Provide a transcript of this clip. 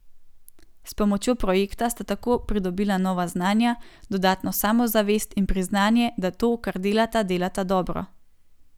S pomočjo projekta sta tako pridobila nova znanja, dodatno samozavest in priznanje, da to, kar delata, delata dobro.